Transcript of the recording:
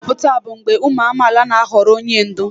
Nhọpụta bụ mgbe ụmụ amaala na-ahọrọ onye ndu.